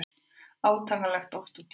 Átakanlegt oft á tíðum.